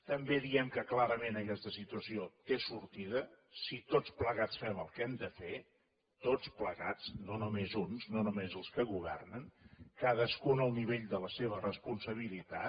també diem que clarament aquesta situació té sortida si tots plegats fem el que hem de fer tots plegats no només uns no només els que governen cadascú al nivell de la seva responsabilitat